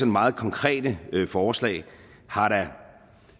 meget konkrete forslag da har